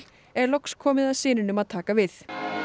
er loks komið að syninum að taka við